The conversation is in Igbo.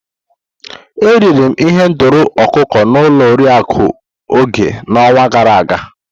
Eriri m ihendori ọkụkọ n'ụlọ Oriakụ Oge n'ọnwa gara aga.